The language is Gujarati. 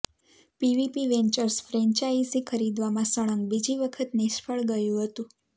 પીવીપી વેન્ચર્સ ફ્રેન્ચાઇઝી ખરીદવામાં સળંગ બીજી વખત નિષ્ફળ ગયું હતું